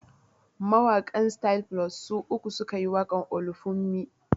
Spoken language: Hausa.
Mawaƙan Styl Plus su uku su ka yi waƙar "Olufunmi".